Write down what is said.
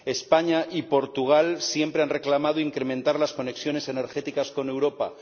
España y Portugal siempre han reclamado incrementar las conexiones energéticas con Europa.